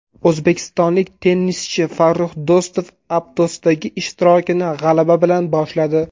O‘zbekistonlik tennischi Farrux Do‘stov Aptosdagi ishtirokini g‘alaba bilan boshladi.